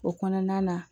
O kɔnɔna na